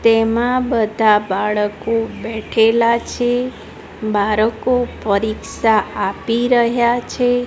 તેમા બધા બાળકો બેઠેલા છે બાળકો પરીક્ષા આપી રહ્યા છે.